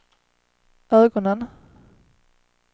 ögonen